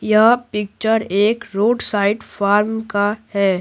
यह पिक्चर एक road side farm का है।